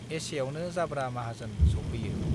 एसेआवनो जाब्रा माहाजोन सौफैयो